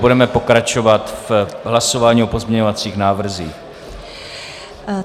Budeme pokračovat v hlasování o pozměňovacích návrzích.